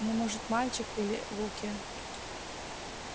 ну может мальчик или в улке